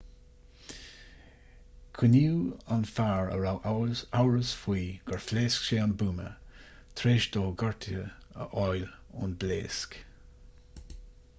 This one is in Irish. coinníodh an fear a raibh amhras faoi gur phléasc sé an buama tar éis dó gortuithe a fháil ón bpléasc